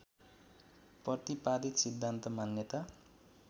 प्रतिपादित सिद्धान्त मान्यता